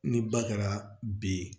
Ni ba kɛra b